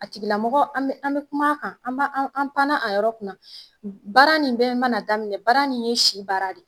A tigila mɔgɔ an be an be kum'a kan, an b'a anw an' panna a yɔrɔ kunna. Baara nin bɛɛ mana daminɛ, baara nin ye si baara de ye.